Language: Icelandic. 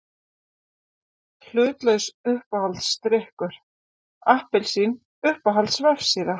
Hlutlaus Uppáhaldsdrykkur: Appelsín Uppáhalds vefsíða?